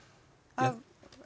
af